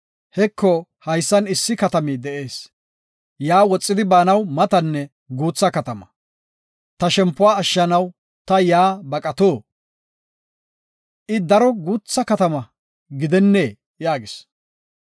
Heko, haysan issi katami de7ees; yaa woxidi baanaw matanne guutha katama. Ta shempuwa ashshanaw ta yaa baqato? I daro guutha katama gidennee?” yaagis.